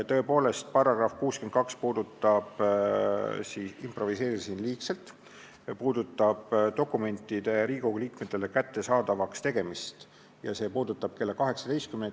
Tõepoolest improviseerisin liigselt, § 62 puudutab dokumentide Riigikogu liikmetele kättesaadavaks tegemist, mida saab teha kella 18-ni.